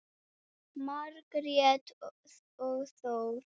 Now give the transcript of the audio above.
Margrét og Þór.